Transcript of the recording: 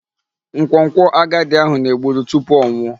Nkwonkwo agadi ahụ. na-egburu tupu ọ nwụọ.